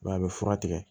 Wa a bɛ fura tigɛ